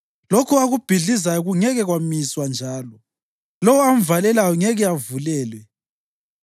Lokho akubhidlizayo kungeke kwamiswa njalo; lowo amvalelayo ngeke avulelwe.